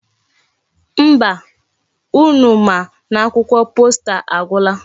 Mba, unu ma n'akwụkwọ posta agwula.